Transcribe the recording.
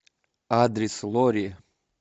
адрес лорри